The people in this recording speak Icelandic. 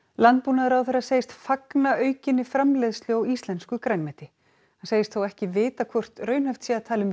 landbúnaðarráðherra segist fagna aukinni framleiðslu á íslensku grænmeti hann segist þó ekki vita hvort raunhæft sé að tala um